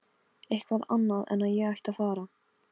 Eitthvað annað en að ég ætti að fara.